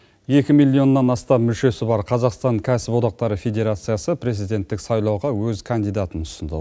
екі миллионнан астам мүшесі бар қазақстан кәсіподақтар федерациясы президенттік сайлауға өз кандидатын ұсынды